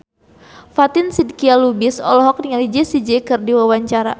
Fatin Shidqia Lubis olohok ningali Jessie J keur diwawancara